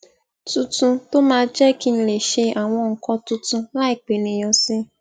tuntun tó máa n jé kí n lè ṣe àwọn nǹkan tuntun láì pe eniyan si